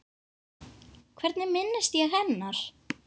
Hvernig minnist ég hennar?